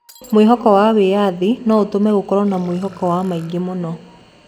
Mwĩhoko wa wĩyathi no ũtũme gũkorwo na mwĩhoko wa maingĩ mũno.